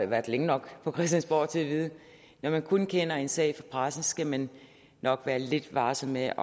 været længe nok på christiansborg til at vide at når man kun kender en sag fra pressen skal man nok være lidt varsom med